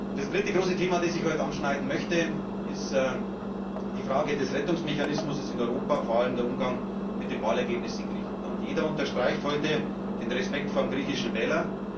Das dritte große Thema, das ich heute anschneiden möchte, ist die Frage des Rettungsmechanismus in Europa, vor allem der Umgang mit dem Wahlergebnis in Griechenland. Jeder unterstreicht heute den Respekt vor dem griechischen Wähler.